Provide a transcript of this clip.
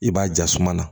I b'a jasuma na